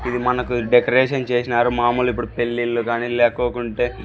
ఇది మనకు డెకరేషన్ చేసినారు మామూలు ఇప్పుడు పెళ్లిళ్లు గాని లేకోకుంటే.